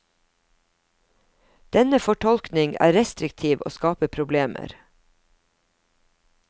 Denne fortolkning er restriktiv og skaper problemer.